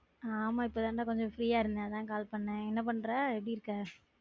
ஆமா இப்பதான் டா கொஞ்சம் free ஆ இருந்தேன் அதான் கால் பன்னேன், என்ன பன்ற எப்படி இருக்க?